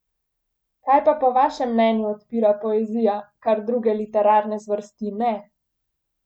Kaj pa po vašem mnenju odpira poezija, kar druge literarne zvrsti ne?